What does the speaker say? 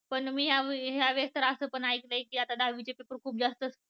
पण मी ह्या वेळेला असं पण ऐकलं की आता दहावी चे paper खूप जास्त